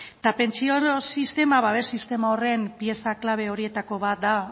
eta pentsio sistema babes sistema horren pieza klabe horietako bat da